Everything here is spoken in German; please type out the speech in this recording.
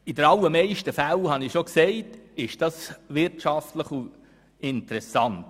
und in den allermeisten Fällen ist das wirtschaftlich interessant.